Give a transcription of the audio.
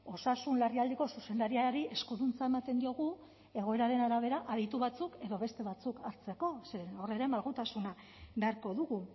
osasun larrialdiko zuzendariari eskuduntza ematen diogu egoeraren arabera aditu batzuk edo beste batzuk hartzeko zeren hor ere malgutasuna beharko dugu